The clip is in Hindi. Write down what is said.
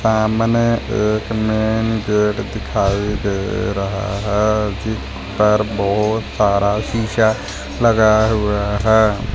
अ मने एक मैंने गेट दिखाई दे रहा है जिस पर बहोत सारा शिसा लगाया हुआ है।